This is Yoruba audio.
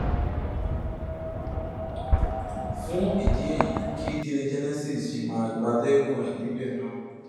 fún ìdí èyí kí délé genesis ṣì máa gbatẹgùn ẹ níbẹ náà